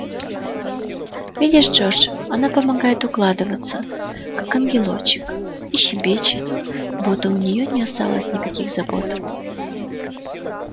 видишь джордж она помогает укладываться как ангелочек и щебечет будто у неё не осталось никаких забот